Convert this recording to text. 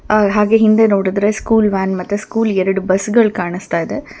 ಅ ಹಾಗೆ ಹಿಂದೆ ನೋಡಿದ್ರರೆ ಸ್ಕೂಲ್ ವ್ಯಾನ್ ಮತ್ತೆ ಸ್ಕೂಲ್ ಎರಡ್ ಬಸ್ ಗಳ್ ಕಾಣಸ್ತಾಇದೆ.